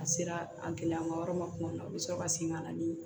A sera a gɛlɛyamayɔrɔ ma tuma min na u bi sɔrɔ ka segin ka na ni